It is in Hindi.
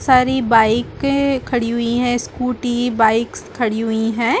सारी बाइकें खड़ी हुई हैं स्कूटी बाइक्स खड़ी हुई हैं।